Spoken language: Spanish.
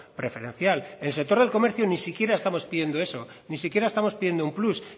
preferencial el sector del comercio ni siquiera estamos pidiendo eso ni siquiera estamos pidiendo un plus